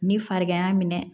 Ni farigan y'a minɛ